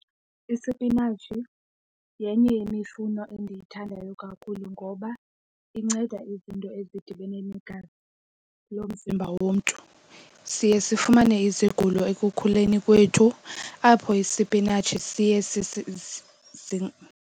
Isipinatshi yenye yemifuno endiyithandayo kakhulu ngoba inceda izinto ezidibene negazi lomzimba womntu. Siye sifumane izigulo ekukhuleni kwethu apho isipinatshi siye